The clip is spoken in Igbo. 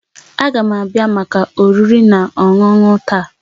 Ága m abịa maka oriri na ọṅụṅụ taa